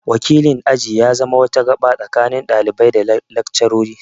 Wakilin aji ya zama wata gada tsakanin ɗalibai da laccarori